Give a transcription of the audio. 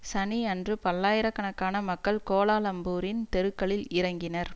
சனியன்று பல்லாயிர கணக்கான மக்கள் கோலாலம்பூரின் தெருக்களில் இறங்கினர்